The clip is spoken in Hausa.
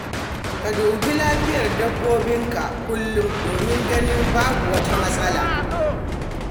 Ka duba lafiyar dabbobinka kullum domin ganin babu wata matsala.